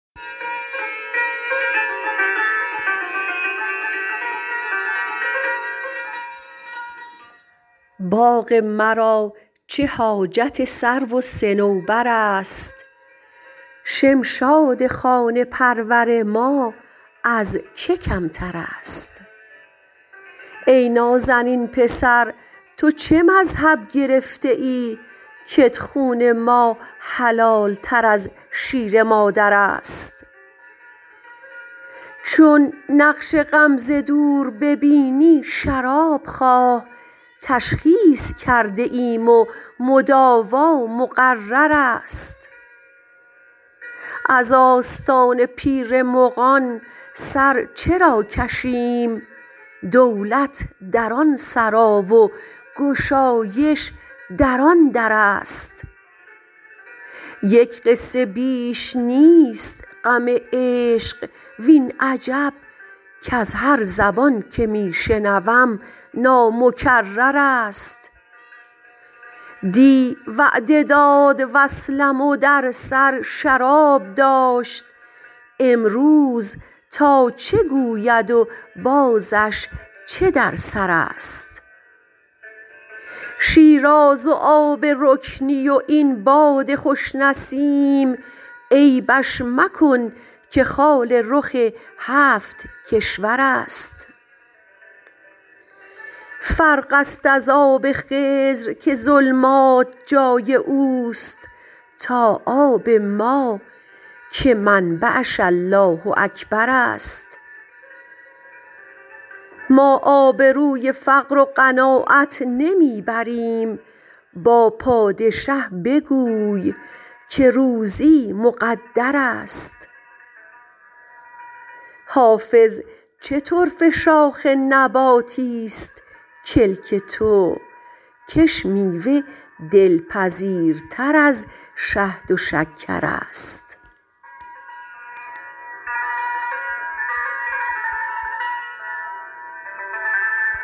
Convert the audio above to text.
باغ مرا چه حاجت سرو و صنوبر است شمشاد خانه پرور ما از که کمتر است ای نازنین پسر تو چه مذهب گرفته ای کت خون ما حلال تر از شیر مادر است چون نقش غم ز دور ببینی شراب خواه تشخیص کرده ایم و مداوا مقرر است از آستان پیر مغان سر چرا کشیم دولت در آن سرا و گشایش در آن در است یک قصه بیش نیست غم عشق وین عجب کز هر زبان که می شنوم نامکرر است دی وعده داد وصلم و در سر شراب داشت امروز تا چه گوید و بازش چه در سر است شیراز و آب رکنی و این باد خوش نسیم عیبش مکن که خال رخ هفت کشور است فرق است از آب خضر که ظلمات جای او است تا آب ما که منبعش الله اکبر است ما آبروی فقر و قناعت نمی بریم با پادشه بگوی که روزی مقدر است حافظ چه طرفه شاخ نباتیست کلک تو کش میوه دلپذیرتر از شهد و شکر است